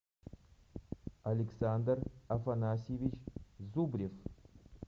александр афанасьевич зубрев